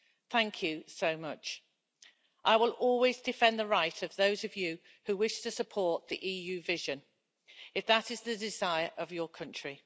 Thank you so much. I will always defend the right of those of you who wish to support the EU vision, if that is the desire of your country.